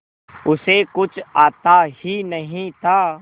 उसे कुछ आता ही नहीं था